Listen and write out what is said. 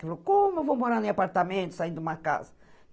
Como eu vou morar em apartamento, sair de uma casa?